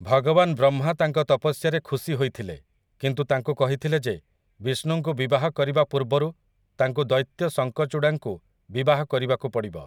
ଭଗବାନ ବ୍ରହ୍ମା ତାଙ୍କ ତପସ୍ୟାରେ ଖୁସି ହୋଇଥିଲେ କିନ୍ତୁ ତାଙ୍କୁ କହିଥିଲେ ଯେ ବିଷ୍ଣୁଙ୍କୁ ବିବାହ କରିବା ପୂର୍ବରୁ ତାଙ୍କୁ ଦୈତ୍ୟ ଶଙ୍କଚୁଡ଼ାଙ୍କୁ ବିବାହ କରିବାକୁ ପଡ଼ିବ ।